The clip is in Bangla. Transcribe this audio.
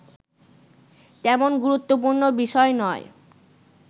তেমন গুরুত্বপুর্ণ বিষয় নয়